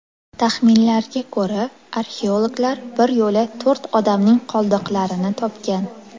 Taxminlarga ko‘ra, arxeologlar bir yo‘la to‘rt odamning qoldiqlarini topgan.